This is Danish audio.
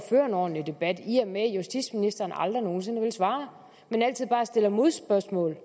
føre en ordentlig debat i og med at justitsministeren aldrig nogen sinde vil svare men altid bare stiller modspørgsmål